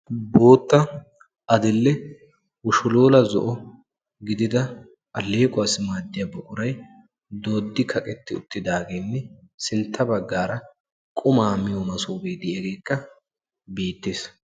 Boottaa adil'ee ushilula zo'o gidida alleeqquwassi maaddiyaa buquray dooddi kaqetti uttidaagne sintta baggaaraa quma miyo masofe diyagekka beettees.